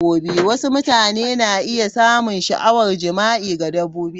Wasu mutane na iya samun sha'awar jima'i ga dabbobi.